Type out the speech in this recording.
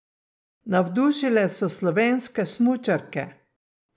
Navdušile so slovenske smučarke!